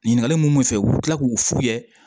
Ɲininkali mun bɛ fɛ u bɛ tila k'u fu ye